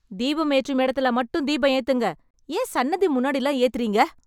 தீபம் ஏற்றும் இடத்துல மட்டும் தீபம் ஏத்துங்க. ஏன் சன்னதி முன்னாடில்லாம் ஏத்துறீங்க?